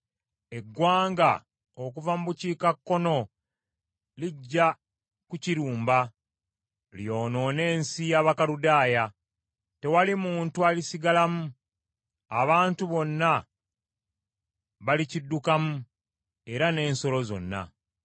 Eggwanga okuva mu bukiikakkono lijja kukirumba lyonoone ensi y’Abakaludaaya. Tewali muntu alisigalamu; abantu bonna balikiddukamu era n’ensolo zonna.